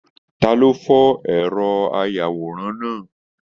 Ta ló fọ ẹrọ ayàwòrán náà?